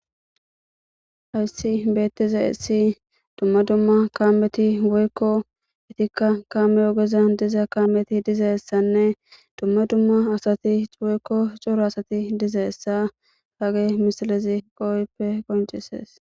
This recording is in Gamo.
Hayssi bethizaysi dumma dumma kamethi woykko ikka kameza ogezan kamethi dizzayssane dumma dumma assathi woykko cora assathi dizaysa hage missilezi kehippe qoncises.